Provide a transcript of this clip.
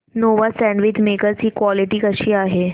Nova sandwich maker ची quality कशी आहे